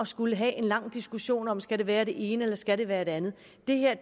skulle have en lang diskussion om det skal være det ene eller det skal være det andet